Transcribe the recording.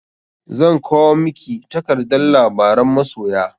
Zan kwao miki takardar labaran masoya.